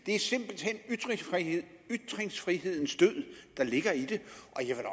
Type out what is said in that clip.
er simpelt hen ytringsfrihedens død der ligger i det